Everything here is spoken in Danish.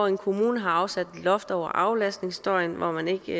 en kommune har afsat et loft over aflastningsstøjen hvor man ikke